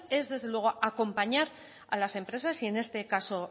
es desde luego acompañar a las empresas y en este caso